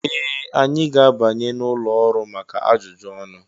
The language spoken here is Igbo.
Ee! Anyị ga-abanye n'ụlọ ọrụ maka ajụjụ ọnụ.